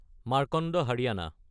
Markanda Haryana